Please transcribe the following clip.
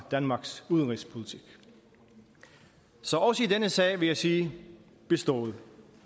danmarks udenrigspolitik så også i denne sag vil jeg sige bestået